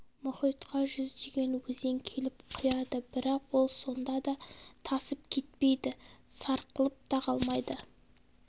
мұхитқа жүздеген өзен келіп құяды бірақ ол сонда да тасып кетпейді сарқылып та қалмайды